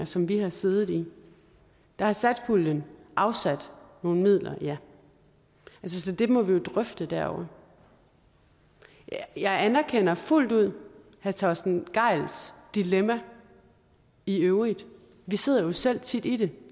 som vi har siddet i der har satspuljen afsat nogle midler ja så det må vi jo drøfte derovre jeg anerkender fuldt ud herre torsten gejls dilemma i øvrigt vi sidder jo selv tit i det